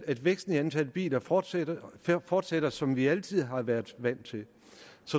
at væksten i antallet af biler fortsætter fortsætter som vi altid har været vant til